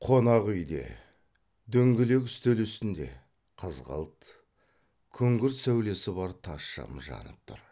қонақ үйде дөңгелек үстел үстінде қызғылт күңгірт сәулесі бар тас шам жанып тұр